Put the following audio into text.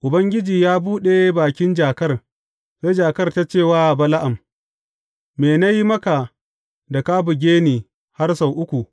Ubangiji ya buɗe bakin jakar, sai jakar ta ce wa Bala’am, Me na yi maka da ka buge ni har sau uku?